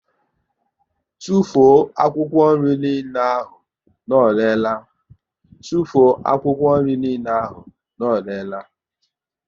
Tụfuo akwụkwọ niile ahụ na ọ rere la!